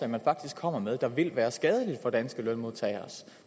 man faktisk kommer med der vil være skadelige for danske lønmodtagers